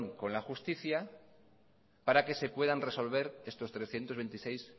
con la justicia para que se puedan resolver estos trescientos veintiséis